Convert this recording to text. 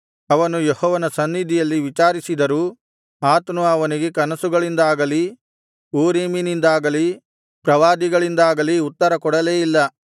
ಅವನು ಯೆಹೋವನ ಸನ್ನಿಧಿಯಲ್ಲಿ ವಿಚಾರಿಸಿದರೂ ಆತನು ಅವನಿಗೆ ಕನಸುಗಳಿಂದಾಗಲಿ ಊರೀಮಿನಿಂದಾಗಲಿ ಪ್ರವಾದಿಗಳಿಂದಾಗಲಿ ಉತ್ತರ ಕೊಡಲೇ ಇಲ್ಲ